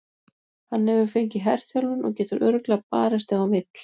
Hann hefur fengið herþjálfun og getur örugglega barist ef hann vill.